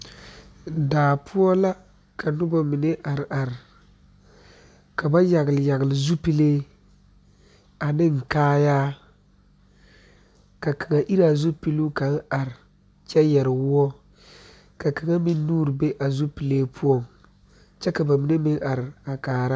Daa poɔ la ka noba be ka ba yagle yagle zupile ane kaayɛ ka kaŋ iri a zupili are ne a yɛrɛ kpar woɔ kaŋ meŋ nuure be a zupili poɔ kyɛ ka ba mine meŋ are a kaara